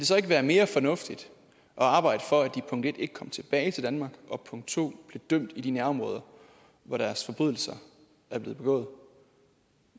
så ikke være mere fornuftigt at arbejde for at de 1 ikke kommer tilbage til danmark og 2 bliver dømt i de nærområder hvor deres forbrydelser er blevet begået